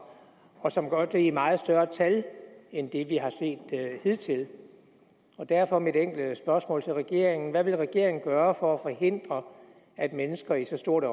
og som gør det i meget større tal end det vi har set hidtil derfor er mit enkle spørgsmål til regeringen hvad vil regeringen gøre for at forhindre at mennesker i så stort